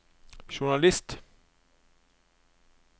journalist